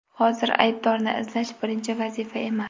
Hozir aybdorni izlash – birinchi vazifa emas.